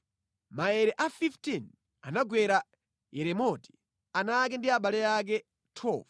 Maere a 15 anagwera Yeremoti, ana ake ndi abale ake. 12